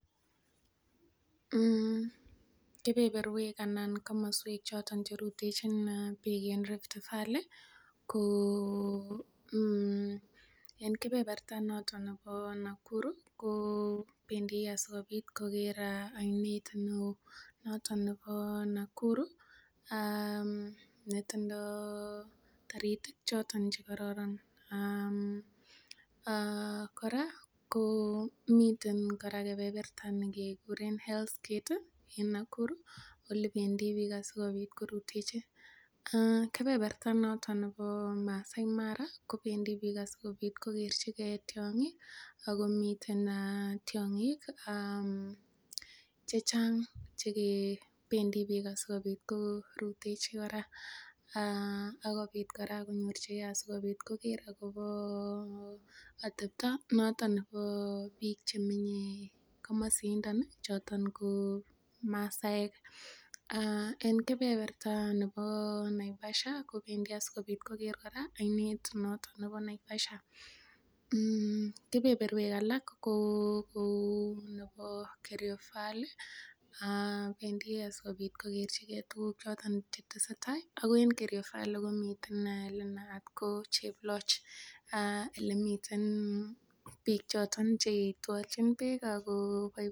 um kebeberwek anan komoswek choton cherutechin biik en Rift valley ko en kebeberta noton nebo Nakuru kobendii asikobit koker oinet neoo noton nebo Nakuru um netindoo toritik choton chekoron um kora ko miten kora kebeberta nekekuren Hell's gate en Nakuru asikobit korutechi. Kebeberta noton nebo Masai Mara kobendii biik asikobit kokerchigee tiong'ik ako miten tiong'ik chechang chekebendii biik asikobit korutechi kora akobit kora konyorchigee asikobit koker akobo atepto noton nebo biik chemenye komosindon ih choton ko masaek en kebeberta nebo Naivasha kobendii asikobit koker kora oinet noton nebo Naivasha, kebeberwek alak ko kou nebo Kerio valley bendii asikobit kokerchigee tuguk choton chetesetaa ako en Kerio valley komiten elenaat ko Cheploch elemiten biik choton cheitwolnjin beek ako